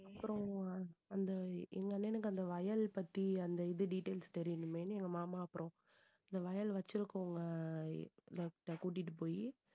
அப்புறம் அந்த எங்க அண்ணனுக்கு அந்த வயல் பத்தி அந்த இது details தெரியணுமேன்னு எங்க மாமா அப்புறம் இந்த வயல் வச்சிருக்கவங்கட்ட கூட்டிட்டு போயி